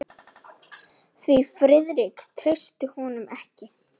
Því Friðrik treysti honum ekki.